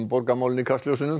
borgarmálin í kastljósinu